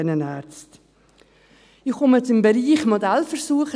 Ich komme zum Bereich «Modellversuch»: